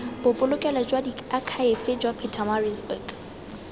bobolokelo jwa diakhaefe jwa pietermaritzburg